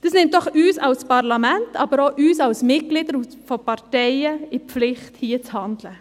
Dies nimmt uns doch als Parlament und uns als Mitglieder von Parteien in die Pflicht, hier zu handeln!